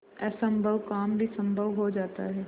असम्भव काम भी संभव हो जाता है